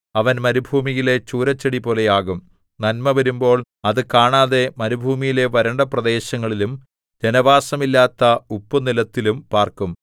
അവൻ മരുഭൂമിയിലെ ചൂരച്ചെടിപോലെയാകും നന്മ വരുമ്പോൾ അത് കാണാതെ മരുഭൂമിയിലെ വരണ്ട പ്രദേശങ്ങളിലും ജനവാസം ഇല്ലാത്ത ഉപ്പുനിലത്തിലും പാർക്കും